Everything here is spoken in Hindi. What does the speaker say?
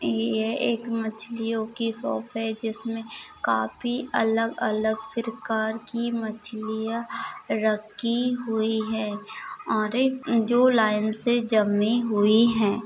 ये एक मछलियो की शॉप है। जिसमे काफी अलग अलग परकार की मछलीया रखी हुए है। और एक जो लाईन से जमी हुए है।